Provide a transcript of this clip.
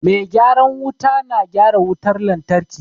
Mai gyaran wuta na gyara wutar lantarki.